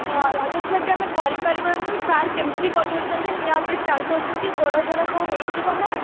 ହଁ ଲାଗୁଥିଲା କି ଆମେ କରି ପାରିବାନି sir କେମତି କରି ଦଉଛନ୍ତି ନିଆଁ ଉପରେ ଚାଲି ଦଉଛନ୍ତି ଗୋଡ ଫୋଡ କଣ ହେଇଯିବ ନା